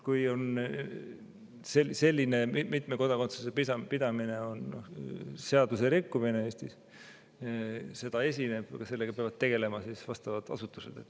Kui selline mitme kodakondsuse pidamine on seaduserikkumine Eestis, kui seda esineb, siis sellega peavad tegelema vastavad asutused.